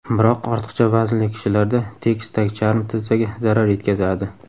Biroq ortiqcha vaznli kishilarda tekis tagcharm tizzaga zarar yetkazadi.